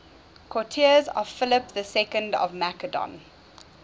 courtiers of philip ii of macedon